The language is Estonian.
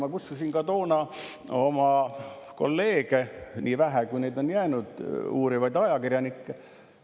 Ma kutsusin ka toona oma kolleege – nii vähe, kui neid on jäänud –, uurivaid ajakirjanikke,.